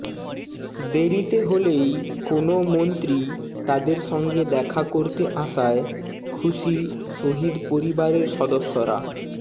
দেরীতে হলেই কোনও মন্ত্রী তাদের সঙ্গে দেখা করতে আসায় খুশি শহিদ পরিবারের সদস্যরা